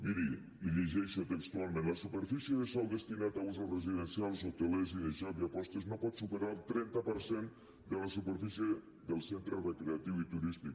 miri li ho llegeixo textualment la superfície de sòl destinat a usos residencials hotelers i de joc i apostes no pot superar el trenta per cent de la superfície del centre recreatiu i turístic